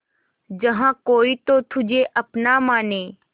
जहा कोई तो तुझे अपना माने